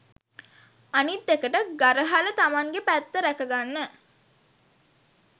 අනිත්එකට ගරහල තමන්ගේ පැත්ත රැකගන්න